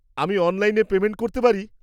আমি অনলাইনে পেমেন্ট করতে পারি?